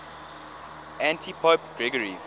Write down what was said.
antipope gregory